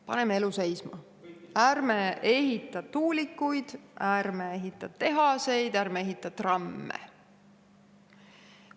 Paneme elu seisma, ärme ehitame tuulikuid, ärme ehitame tehaseid, ärme ehitame trammi!